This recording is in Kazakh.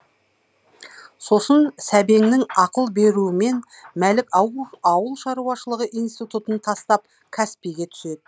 сосын сәбеңнің ақыл беруімен мәлік ауыл ауылшаруашылығы институтын тастап қазпи ге түседі